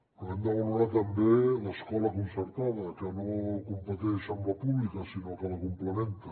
però hem de valorar també l’escola concertada que no competeix amb la pública sinó que la complementa